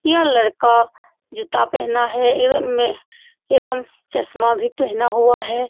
यह लड़का जूता पहना है एबम में एवं चश्मा भी पेहना हुआ है।